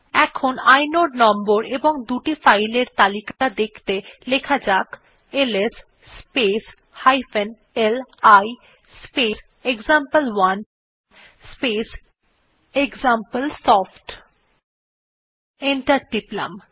এখন inode number এবং দুটি ফাইল এর তালিকা দেখতে লেখা যাক এলএস স্পেস li স্পেস এক্সাম্পল1 স্পেস এক্সাম্পলসফট এন্টার টিপলাম